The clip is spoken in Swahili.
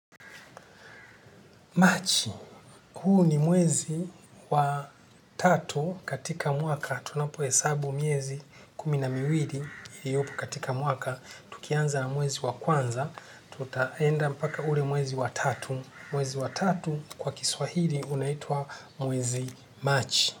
March, huu ni mwezi wa tatu katika mwaka, tunapohesabu mwezi kumi na miwili, iliopo katika mwaka, tukianza na mwezi wa kwanza, tutaenda mpaka ule mwezi wa tatu, mwezi wa tatu kwa kiswahili unaitwa mwezi Machi.